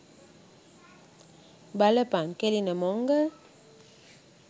බලපන් කෙලින මොංගල්!